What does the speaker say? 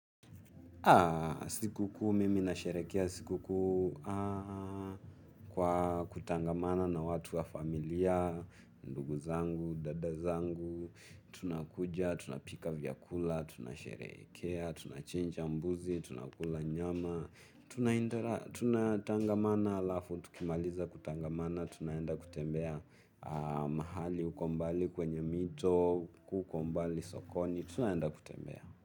Siku kuu, mimi na sherehekea siku kuu kwa kutangamana na watu wa familia, ndugu zangu, dada zangu, tunakuja, tunapika vyakula, tunasherehekea, tunachinja mbuzi, tunakula nyama, tunatangamana halafu tukimaliza kutangamana tunaenda kutembea mahali huko mbali kwenye mito, huko mbali sokoni, tunaenda kutembea.